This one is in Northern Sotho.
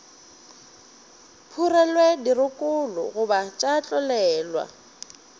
phurelwe dirokolo goba tša tlolelwa